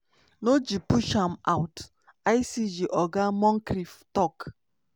no g push am out" icg oga moncrieff tok.